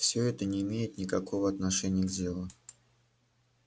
всё это не имеет никакого отношения к делу